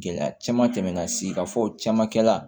Gɛlɛya caman tɛmɛna sigida fɔ caman kɛla